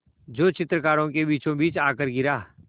जो चित्रकारों के बीचोंबीच आकर गिरा